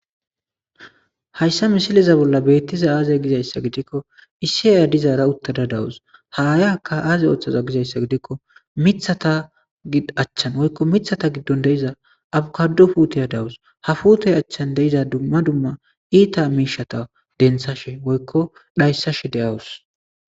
Hayssa misileza bolla beettiza aaze gizayssa gidikko issi aaya dizaara uttada dawus ha aayaka aaze ooththaza gizayssa gidikko mithata achchan woykko mithata giddon de'iza abukado puuteya dawus hafuute achchan deiza dumma dumma iita miishata denthashe woykko dhayssashe de'awus.